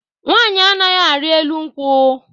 Nwaanyị anaghị ari elu nkwụ